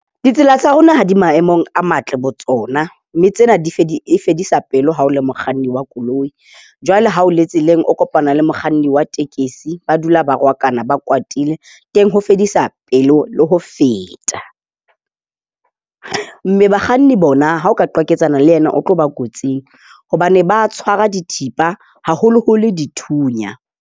Ditsela tsa rona ha di maemong a matle botsona, mme tsena di fedisa pelo ha o le mokganni wa koloi. Jwale ha o le tseleng, o kopana le mokganni wa tekesi. Ba dula ba rohakana, ba kwatile, ho fedisa pelo le ho feta. Mme bakganni bona ha o ka qwaketsana le yena, o tlo ba kotsing hobane ba tshwara dithipa haholoholo dithunya.